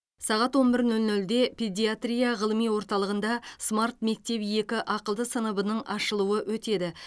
саға он бір нөл нөлде педиатрия ғылыми орталығында смарт мектеп екі ақылды сыныбының ашылуы өтеді